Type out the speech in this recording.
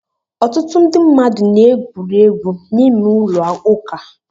Ọtụtụ ndị mmadụ na-egwuri egwu n'ime ụlọ ụka.